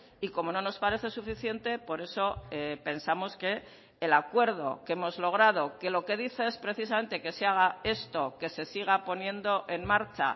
y como no nos parece suficiente por eso pensamos que el acuerdo que hemos logrado que lo que dice es precisamente que se haga esto que se siga poniendo en marcha